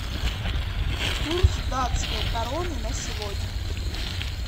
курс датской кроны на сегодня